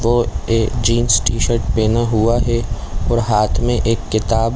और एक jeans t shirt पेहना हुआ है और हाथ में एक किताब--